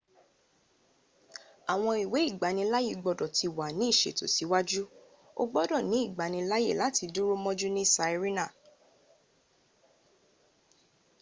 àwọn ìwé ìgbanilááyè gbodọ ti wà ní ìsẹ̀tò síwáájú o gbodò ní ìgbanilááyè láti dúró mọ́jú ní sirena